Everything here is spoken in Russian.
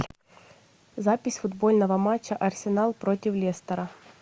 запись футбольного матча арсенал против лестера